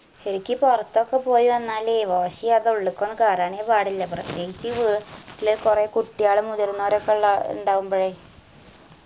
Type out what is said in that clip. ശരിക്കു പൊർത്തൊക്കെ പോയ് വന്നാല് wash എയ്യാതെ ഉള്ള് ക്കൊന്നു കേറാനെ പാടില്ല പ്രത്യേകിച്ചീ വീട്ടിലെ കൊറേ കുട്ടിയാളും മുതിർന്നാരു ഒക്കെ ഇണ്ട ഇണ്ടാവുമ്പഴേ